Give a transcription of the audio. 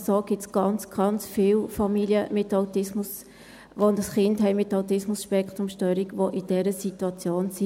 Solche Familien gibt es ganz viele, mit einem Kind mit ASS, die in dieser Situation sind.